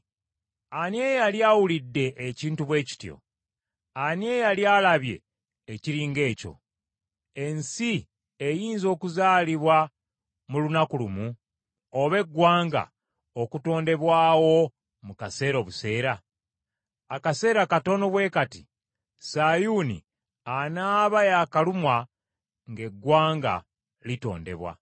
Ani eyali awulidde ekintu bwe kityo? Ani eyali alabye ekiri ng’ekyo? Ensi eyinza okuzaalibwa mu lunaku lumu oba eggwanga okutondebwawo mu kaseera obuseera? Akaseera katono bwe kati, Sayuuni anaaba yakalumwa ng’eggwanga litondebwa.